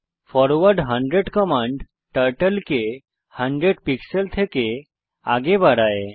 forward 100 command turtle কে 100 pixel থেকে আগে বাড়ায়